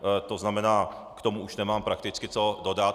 To znamená, k tomu už nemám prakticky, co dodat.